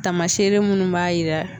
Taamasere minnu b'a yira